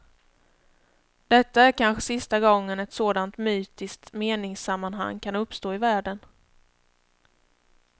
Detta är kanske sista gången ett sådant mytiskt meningssammanhang kan uppstå i världen.